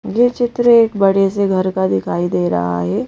ये चित्र एक बड़े से घर का दिखाई दे रहा है।